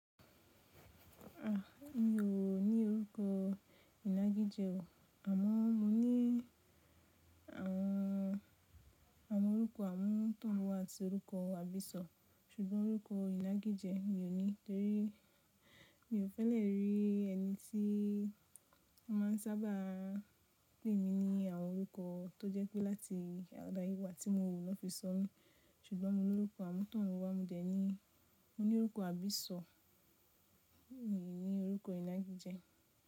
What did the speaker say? A, mi ò ní orúkọ ìnagijẹ o. Àmọ́ mo ní àwọn, àwọn orúkọ àmútọ̀runwá àti orúkọ àbísọ̀, ṣùgbọ́n orúkọ ìnagijẹ mi ò ní, torí mi ò fẹ́ lè rí ẹni tí wọ́n má n sábà pè mí ní àwọn orúkọ tó jẹ́ pé láti àdáyewà tí mo rò ni won fi sọ̀ mí, ṣùgbọ́n mo ní orúkọ àmútọ̀runwá, mo dẹ̀ ní, mo ní orúkọ àbísọ̀, mi ò ní orúkọ ìnagijẹ.